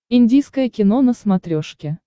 индийское кино на смотрешке